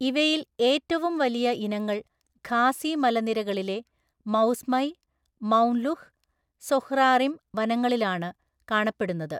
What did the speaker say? ഇവയിൽ ഏറ്റവും വലിയ ഇനങ്ങൾ ഖാസി മലനിരകളിലെ മൌസ്മൈ, മൌംലുഹ്, സൊഹ്റാറിം വനങ്ങളിലാണ് കാണപ്പെടുന്നത്.